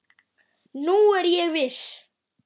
Nú er ég viss!